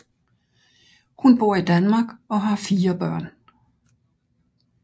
Hun bor i Danmark og har fire børn